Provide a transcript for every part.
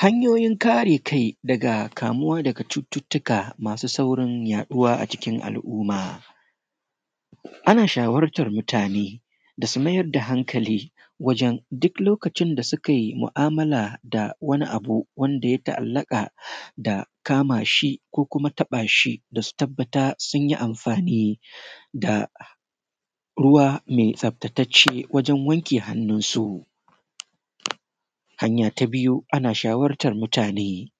Hanyo:yin kare kai daga kamuwa daga cututtuka masu saurin yaɗuwa a cikin al’umma, ana shawartar mutane da su mayar da hankali wajen duk lokacin da suka yi mu’amala da wani abu wanda ya ta’allaka da kama shi ko kuma taba shi, da su tabbata sun yi amfani da ruwa mai tsaftattace wajen wanke hannunsu. Hanya ta biyu, ana shawartar mutane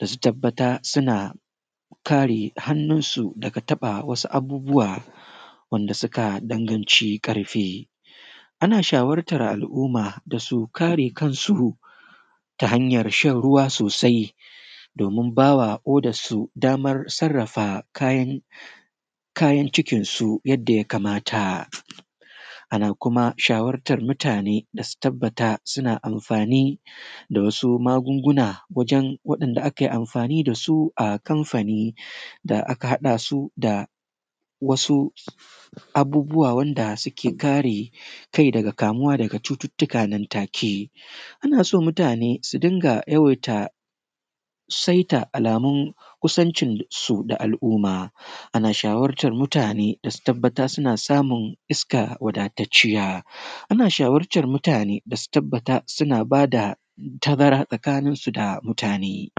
da su tabbata suna kare hannunsu daga taɓa wasu abubuwa wanda suka danganci ƙarfe, ana shawartar al’umma da su kare kansu ta hanyar shan ruwa sosai, domin ba wa ƙodarsu damar sarafa kayan cikinsu yadda ya kamata. Ana kuma shawartar mutane da su tabbata suna amfani da wasu magunguna wajen wanda ake amfani da su a kamfani da aka haɗa su da wasu abubuwa wanda suke kare kai daga kamuwa daga cututtuka nan take. Ana so mutane su dinga yawaita saita alamu kusancinsu da al’umma, ana shawartar mutane da su tabbata suna samun iska waɗaatacciya. Ana shawartar mutane da su tabbata suna ba da tazara tsakaninsu da mutane.